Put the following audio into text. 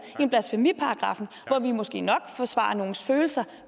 end blasfemiparagraffen hvor vi måske nok forsvarer nogles følelser